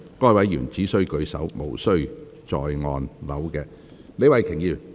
該位議員只須舉手，無須再按鈕。